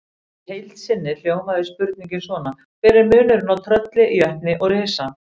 Í heild sinni hljómaði spurningin svona: Hver er munurinn á trölli, jötni og risa?